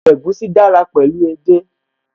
Ọbẹ̀ egusi dára pẹ̀lú edé